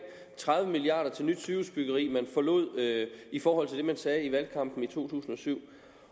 tredive milliard kroner til nyt sygehusbyggeri man forlod i forhold til det man sagde i valgkampen i to tusind og syv